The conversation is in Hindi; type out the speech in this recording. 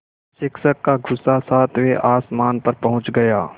शिक्षक का गुस्सा सातवें आसमान पर पहुँच गया